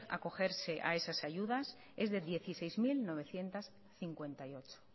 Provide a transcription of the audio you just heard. acogerse a esas ayudas es de dieciséis mil novecientos cincuenta y ocho